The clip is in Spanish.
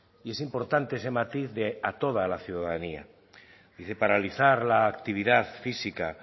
y es importante ese matiz de a toda la ciudadanía y que paralizar la actividad física